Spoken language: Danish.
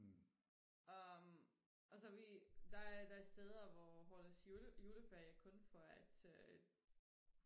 og og så vi der der er steder hvor hvor deres juleferie kun for at øh